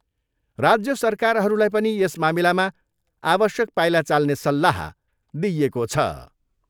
राज्य सरकारहरूलाई पनि यस मामिलामा आवश्यक पाइला चाल्ने सल्लाह दिइएको छ।